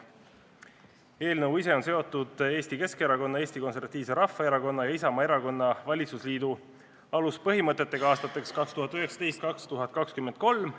Eelnõu on seotud Eesti Keskerakonna, Eesti Konservatiivse Rahvaerakonna ja Isamaa erakonna valitsusliidu aluspõhimõtetega aastateks 2019–2023.